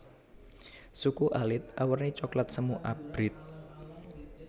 Suku alit awerni coklat semu abrit